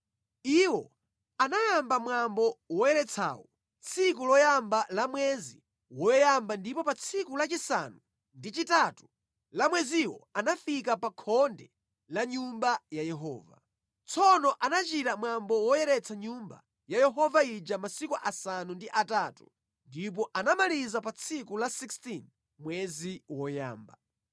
Iwo anayamba mwambo woyeretsawu tsiku loyamba la mwezi woyamba ndipo pa tsiku lachisanu ndi chitatu la mweziwo anafika pa khonde la nyumba ya Yehova. Tsono anachita mwambo woyeretsa Nyumba ya Yehova ija masiku asanu ndi atatu, ndipo anamaliza pa tsiku la 16 mwezi woyamba.